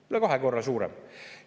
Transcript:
Üle kahe korra suurem.